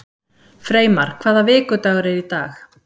Freymar, hvaða vikudagur er í dag?